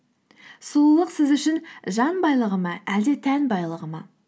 сұлулық сіз үшін жан байлығы ма әлде тән байлығы ма